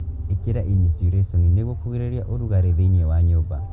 Ĩkĩra inisiurĩconi nĩguo kũgirĩrĩria ũrugarĩ thĩinĩ wa nyũmba.